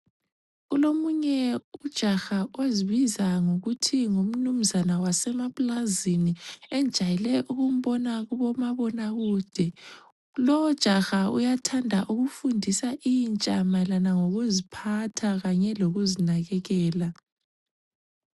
Kulomunye ujaha ozibiza ngokuthi ngumnunzana wasemaplazini engijayele ukumbona kubomabona kude. Lowu jaha uyathanda ukufundisa intsha mayelana lokuziphatha kanye lokuzinakekela.